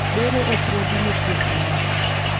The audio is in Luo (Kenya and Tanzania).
bero opuodhi ne thieth mare